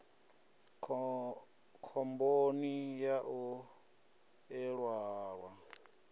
khomboni ya u ḓihwala u